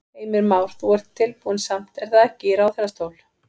Heimir Már: Þú ert tilbúinn samt er það ekki í ráðherrastól?